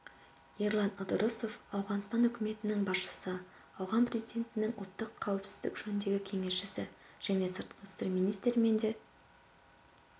ерлан ыдырысов ауғанстан үкіметінің басшысы ауған президентінің ұлттық қауіпсіздік жөніндегі кеңесшісі және сыртқы істер министрімен де